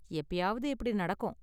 எப்பயாவது இப்படி நடக்கும்.